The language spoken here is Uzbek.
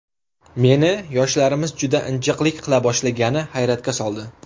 Meni yoshlarimiz juda injiqlik qila boshlagani hayratga soldi.